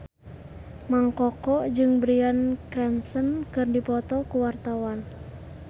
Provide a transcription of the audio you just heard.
Mang Koko jeung Bryan Cranston keur dipoto ku wartawan